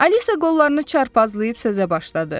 Alisa qollarını çarpazlayıb sözə başladı.